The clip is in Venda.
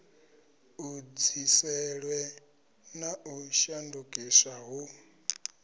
edziselwe na u shandukiswa hu